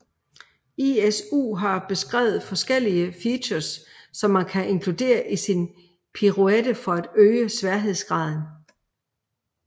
ISU har beskrevet forskellige features som man kan inkludere i sin piruette for at øge sværhedsgraden